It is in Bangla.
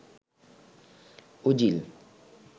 ওজিল